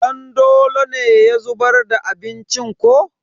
Dandolo ne ya zubar da abincin ko?